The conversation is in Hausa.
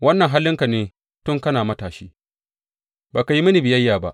Wannan halinka ne tun kana matashi; ba ka yi mini biyayya ba.